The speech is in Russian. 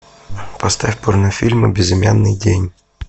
поставь порнофильмы безымянный день